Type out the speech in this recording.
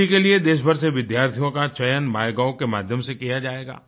दिल्ली के लिए देशभर से विद्यार्थियों का चयन माइगोव के माध्यम से किया जाएगा